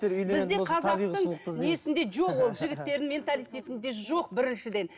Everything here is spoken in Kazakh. жігіттердің менталитетінде жоқ біріншіден